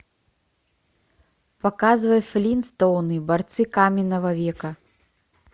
показывай флинстоуны борцы каменного века